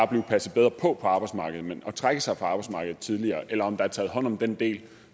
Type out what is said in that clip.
blive passet bedre på på arbejdsmarkedet men for at trække sig fra arbejdsmarkedet tidligere eller der er taget hånd om den del